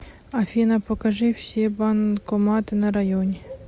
афина покажи все банкоматы на районе